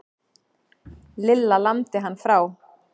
Lilla lamdi hann frá.